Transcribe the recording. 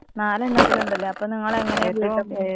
നാലെണ്ണത്തില്ണ്ട്ല്ലെ അപ്പൊ നിങ്ങളെങ്ങനേപ്പോ.